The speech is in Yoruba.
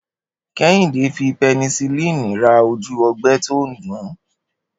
Kéhìndé fi penicillin ra ojú o̩gbé̩ tó ń dùn-ún